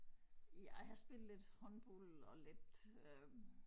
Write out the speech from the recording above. Ja jeg har spillet lidt håndbold og lidt øh